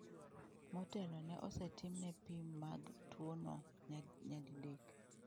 Motelo, ne osetimne pim mag tuono nyadidek.